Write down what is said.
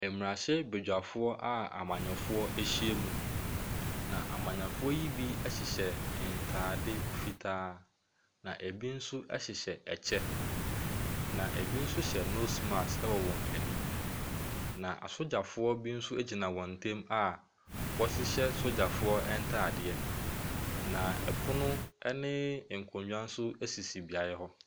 Mmarahyɛbadwafoɔ a amannyɔfoɔ ahyia mu, na amannyɔfoɔ yi bi hyehyɛ ntade fitaa, na ebi nso hyehyɛ kyɛ, na ebi nso hyɛ nose mask wɔ wɔn anim, na asogyafoɔ bi nso gyina wɔn ntam a wɔhyehyɛ sogyafoɔ ntadeɛ, na pono ne nkonnwa nso sisi beaeɛ hɔ.